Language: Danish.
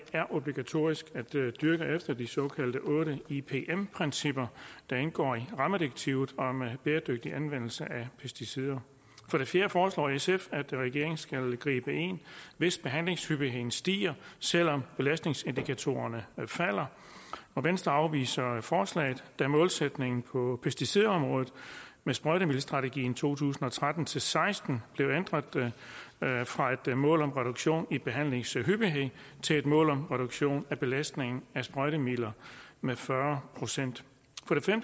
er obligatorisk at dyrke efter de otte såkaldte ipm principper der indgår i rammedirektivet om bæredygtig anvendelse af pesticider for det fjerde foreslår sf at regeringen skal gribe ind hvis behandlingshyppigheden stiger selv om belastningsindikatorerne falder og venstre afviser forslaget da målsætningen på pesticidområdet med sprøjtemiddelstrategien to tusind og tretten til seksten blev ændret fra et mål om reduktion i behandlingshyppighed til et mål om reduktion af belastningen af sprøjtemidler med fyrre procent